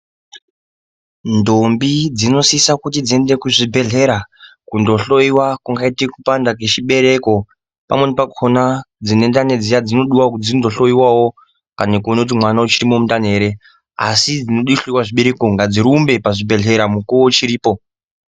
Ndombi dzinosisa kuti dziende kuzvibhehlera kundohloyiwa kungaite kupanda kwechibereko pamweni pakona dzinendani dziya dzinodiwa kuti dzindohloyiwawo kana kuone kuti mwana uchirimwo mundani ere asi dzinode kuhloyiwa zvibereko ngadzirumbe pazvibhehlera mukuwo uchiripo.